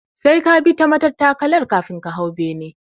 Sai ka bi ta matattakalar kafin ka hau bene